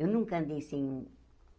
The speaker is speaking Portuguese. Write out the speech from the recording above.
Eu nunca andei sem